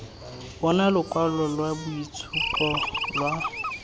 bona lokwalo lwa boitshupo lwa